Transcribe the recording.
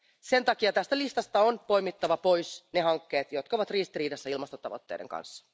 Sen takia tästä listasta on poimittava pois ne hankkeet, jotka ovat ristiriidassa ilmastotavoitteiden kanssa.